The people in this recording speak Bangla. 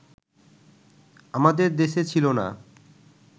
আমাদের দেশে ছিল না